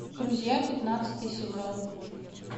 друзья пятнадцатый сезон